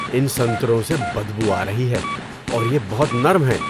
ان سنتروں سے بدبو آ رہی ہے اور یہ بہت نرم ہیں۔